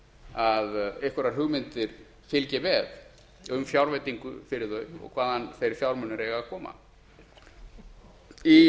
að einhverjar hugmyndir fylgi með um fjárveitingu fyrir þau og hvaðan þeir fjármunir eiga að koma í